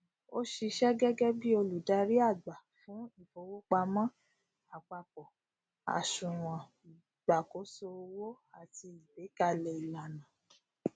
o ṣiṣẹ gẹgẹ bí olùdarí àgbà fún ifowopamọ àpapọ àsùnwòn ìṣàkóso owó àti agbekalẹ ìlànà